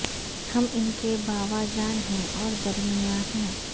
ہم ان کے باوا جان ہیں اور درمیاں کے ہیں